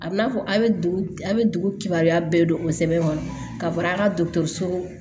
A bɛ n'a fɔ a' bɛ dugu a bɛ dugu kibaruya bɛɛ don o sɛbɛn kɔnɔ ka fara dɔgɔtɔrɔso